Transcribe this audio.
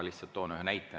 Toon ühe näite.